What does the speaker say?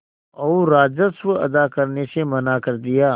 और राजस्व अदा करने से मना कर दिया